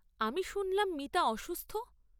আমি শুনলাম মিতা অসুস্থ।